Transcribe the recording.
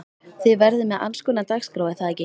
Þið verðið með allskonar dagskrá er það ekki?